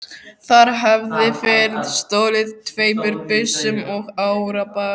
Þar hafði verið stolið tveimur byssum og árabát.